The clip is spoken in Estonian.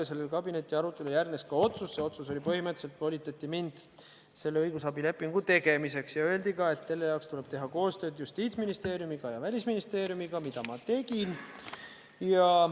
Ja sellele kabinetiarutelule järgnes ka otsus, see otsus oli: põhimõtteliselt volitati mind seda õigusabilepingut tegema ja öeldi ka, et selle jaoks tuleb teha koostööd Justiitsministeeriumi ja Välisministeeriumiga, mida ma tegin.